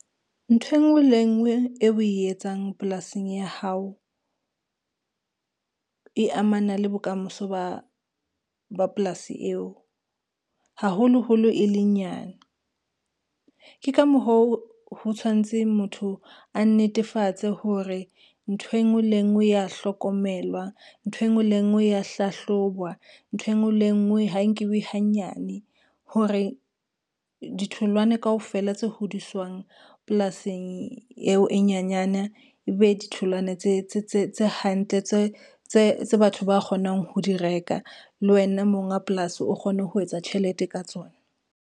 Ntho e ngwe le e ngwe eo o e etsang polasing ya hao, e amana le bokamoso ba polasi eo haholoholo e le nyane. Ke ka moho ho tshwantseng motho, a netefatse hore ntho e ngwe le e ngwe ya hlokomelwa, ntho e ngwe le e ngwe ya hlahlobwa, ntho e ngwe le e ngwe ha nkiwe hanyane. Hore ditholwana kaofela tse hodiswang polasing eo e nyenyane, e be ditholwana tse hantle, tse batho ba kgonang ho di reka. Le wena monga polasi o kgone ho etsa tjhelete ka tsona.